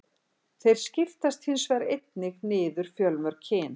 Þeir skiptast hins vegar einnig niður fjölmörg kyn.